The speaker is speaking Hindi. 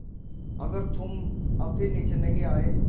अगर तुम अब भी नीचे नहीं आये